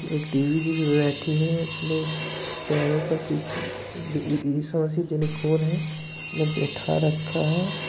एक देवी जी बैठी है। अपने पैरों पर किसी ई ई ईशामसीह जाने कौन है बैठा रखा है ।